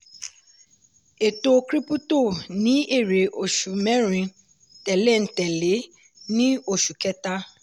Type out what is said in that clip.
ètò krípútò ní èrè oṣù mẹ́rin tẹ̀léńtẹ̀lé ní oṣù kẹta.